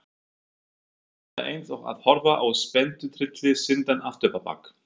Þetta er eins og að horfa á spennutrylli sýndan afturábak.